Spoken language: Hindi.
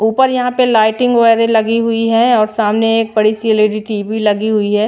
ऊपर यहां पे लाइटिंग वगैरह लगी हुई है और सामने एक बड़ी सी एल_ई_डी टी_वी लगी हुई है।